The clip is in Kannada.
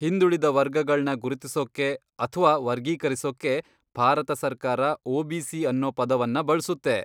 ಹಿಂದುಳಿದ ವರ್ಗಗಳ್ನ ಗುರುತಿಸೊಕ್ಕೆ ಅಥ್ವಾ ವರ್ಗೀಕರಿಸೊಕ್ಕೆ ಭಾರತ ಸರ್ಕಾರ ಒ.ಬಿ.ಸಿ. ಅನ್ನೊ ಪದವನ್ನ ಬಳ್ಸುತ್ತೆ.